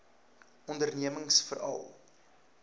ondernemingsveral